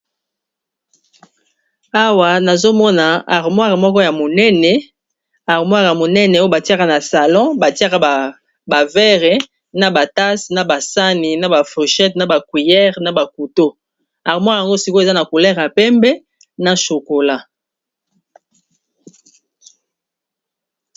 Awa nazomona armoire ya monene esika batiyaka ba sahani, verre, couteau, tase, cuillère pe armoire oyo eza na ba langi ya pembe na chocolat.